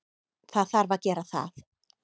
Það þarf að gera það.